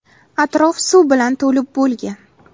Atrof suv bilan to‘lib bo‘lgan.